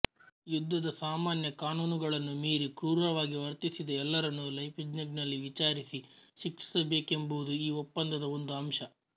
ಯುದ್ಧದ ಸಾಮಾನ್ಯ ಕಾನೂನುಗಳನ್ನು ಮೀರಿ ಕ್ರೂರವಾಗಿ ವರ್ತಿಸಿದ ಎಲ್ಲರನ್ನೂ ಲೈಪ್ಜಿ಼ಗ್ನಲ್ಲಿ ವಿಚಾರಿಸಿ ಶಿಕ್ಷಿಸಬೇಕೆಂಬುದೂ ಈ ಒಪ್ಪಂದದ ಒಂದು ಅಂಶ